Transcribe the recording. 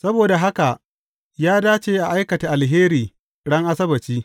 Saboda haka ya dace a aikata alheri ran Asabbaci.